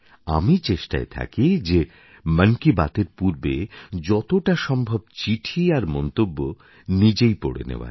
আমি চেষ্টায় থাকি যে মন কি বাতের পূর্বে যতটা সম্ভব চিঠি আর মন্তব্য নিজেই পড়ে নেওয়ার